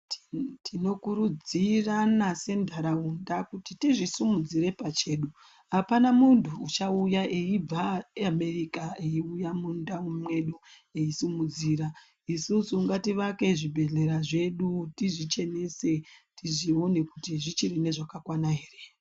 Tinokurudzirana sentharaunda kuti tizvisimudzire pachedu apana munthu uchauya eibva Amerika eiuya mundau mwedu eisimudzira isusu ngativake zvibhedhlera zvedu tizvichenese tizvione kuti zvichiri nezvakakwana here.